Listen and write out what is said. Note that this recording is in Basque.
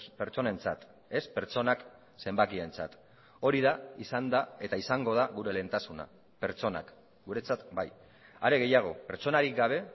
pertsonentzat ez pertsonak zenbakientzat hori da izan da eta izango da gure lehentasuna pertsonak guretzat bai are gehiago pertsonarik gabe